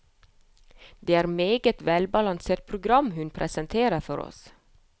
Det er et meget velbalansert program hun presenterer for oss.